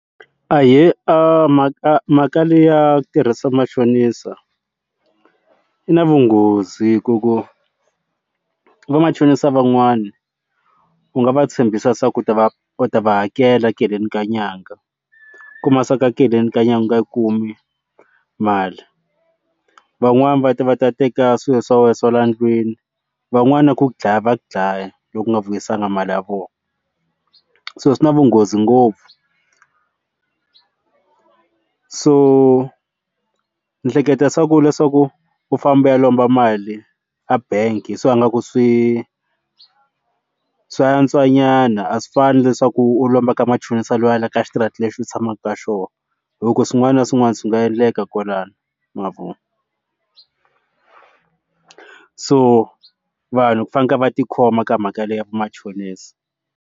Ahee mhaka mhaka leyi ya ku tirhisa machonisa yi na vunghozi ku ku va machonisa van'wana u nga va tshembisa se ku ta va u ta va hakela tekeleni ka nyanga ku masaka tekeleni ka nyanga yi kumi mali van'wani va ta va ta teka swilo swa wena swa le ndlwini van'wani na ku dlaya va ku dlaya loko u nga vuyisangi mali ya vona so swi na vunghozi ngopfu so ni hleketa swa ku leswaku u famba u ya lomba mali a bangi so ngaku swe swa antswa nyana a swi fani leswaku u lomba ka machonisa wa wena ka xitarata lexi u tshamaka ka xona loko swin'wana na swin'wana swi nga endleka kwalano mavona so vanhu fanekele va tikhoma ka mhaka liya vamachonisa.